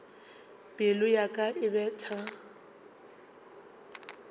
pelo ya ka e betha